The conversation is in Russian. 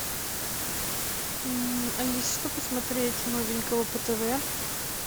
алиса что посмотреть новенького по тв